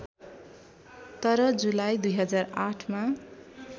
तर जुलाई २००८ मा